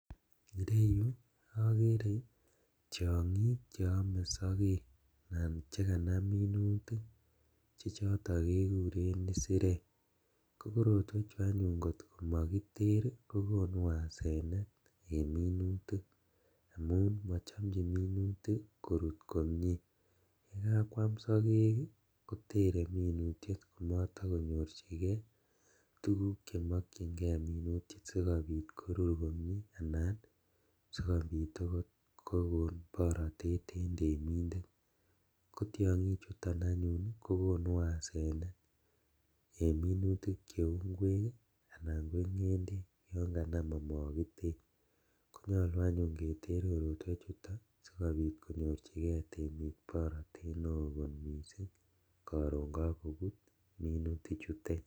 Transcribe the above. Ireyu okere tiongik cheome sokek anan chekanam minutik chechoton kekuren isirek kokorotweju anyun kot komokiter ii kokonu asenet en minutik amun mochomjin minutik korut komie , yekakwam sokek kotere minutiet komotokonyorjigee tuguk chemokyingee minutik sikobit korur komie anan sikobit okot kokon borotet en temindet, kotiongichuton anyun kokonu asenet en minutik cheu inkwek ii anan ko ngendek yon kanam omokiter , konyolu keter anyun korotwechuto sikonyorjigee temik borotet neo kot misink koron kokobut minutichutet.